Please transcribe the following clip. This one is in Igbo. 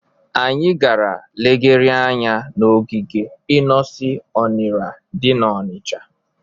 Anyị gara legharịa anya n'ogige Inosi Ọnịra dị n'Ọnịcha.